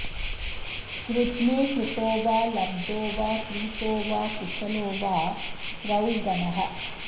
स्रुध्ने कृतो वा लब्धो वा क्रीतो वा कुशलो वा स्रौघनः